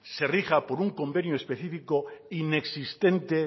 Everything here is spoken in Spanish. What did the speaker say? se rija por un convenio específico inexistente